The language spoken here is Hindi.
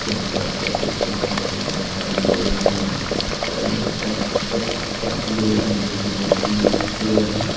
यहां शायद बस स्टैंड है और बहुत सारे लोग हैं एक पक्की रोड है जो की बहुत अच्छी रोड है।